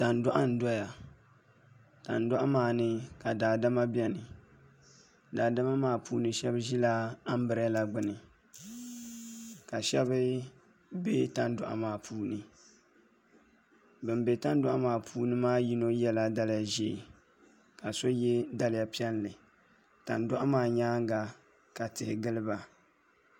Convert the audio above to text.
Tandoɣu n doya tandoɣu maa ni ka Daadama biɛni daadama maa puuni shab ʒila anbirɛla gbuni ka shab bɛ tandoɣu maa puuni bin bɛ tandoɣu maa puuni yino yɛla daliya ʒiɛ ka so yɛ daliya piɛlli tandoɣu maa nyaanga ka tihi giliba